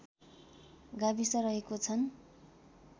गाविस रहेको छन्